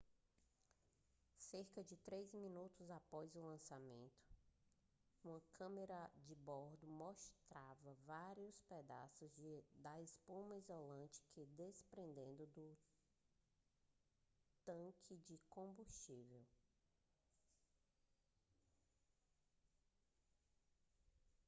cerca de 3 minutos após o lançamento uma câmera de bordo mostrava várias pedaços da espuma isolante se desprendendo do tanque de combustível